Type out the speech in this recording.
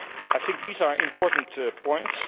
I think these are important points.